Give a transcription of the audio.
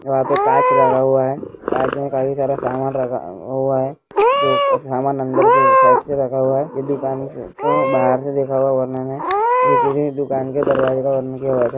ईहा पे कांच लगा हुआ है कांच में काफी सारा सामान रखा आ हुआ है जो क सामान अंदर के साइड से रखा हुआ है यह दुकान देखो बाहर से देखा हुआ वर्णन है यह किसी दुकान कि दरवाजे के बर्णन कि आयाज हे--